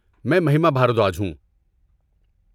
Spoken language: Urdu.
میں مہیما بھاردواج ہوں۔